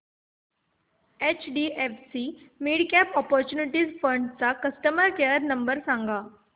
HDFC midcap opportunities fund चा customer care number सांग